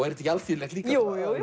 þetta ekki alþýðlegt líka jú jú